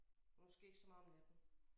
Måske ikke så meget om natten